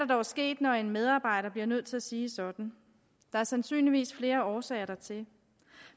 dog sket når en medarbejder bliver nødt til at sige sådan der er sandsynligvis flere årsager dertil